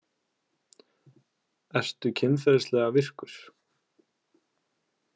Ertu kynferðislega virkur?